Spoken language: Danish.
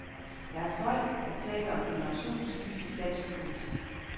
Der er folk, der taler om generationsskifte i dansk politik.